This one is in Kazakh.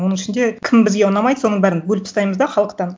оның ішінде кім бізге ұнамайды соның бәрін бөліп тастаймыз да халықтан